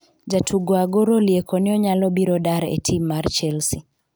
Jatugo Agoro olieko ni onyalo biro dar e tim mar Chelsea